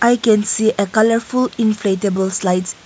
i can see a colourful inflatable slides.